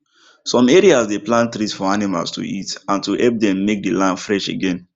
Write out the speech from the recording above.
som area dey plant trees for animals to eat and to hep dem make the land fresh again